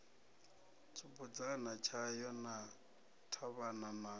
tshibudzana tshayo na ṱhavhana na